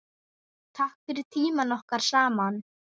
Takk fyrir tímann okkar saman.